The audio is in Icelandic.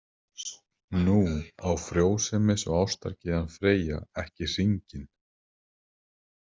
Nú, á frjósemis- og ástargyðjan Freyja ekki hringinn?